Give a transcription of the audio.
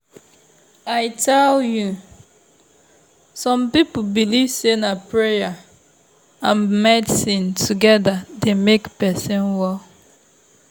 i tell you! some people believe say na prayer and medicine together dey make person well.